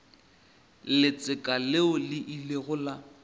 letseka leo le ilego la